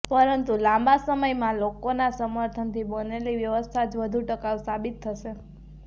પરંતુ લાબાં સમયમાં લોકોના સમર્થનથી બનેલી વ્યવસ્થા જ વધુ ટકાઉ સાબિત થશે